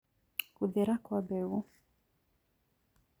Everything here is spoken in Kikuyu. Gũthera Kwa mbegũ